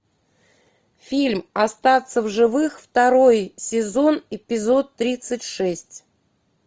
фильм остаться в живых второй сезон эпизод тридцать шесть